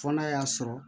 Fɔ n'a y'a sɔrɔ